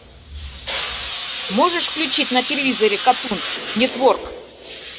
можешь включить на телевизоре катун нетворк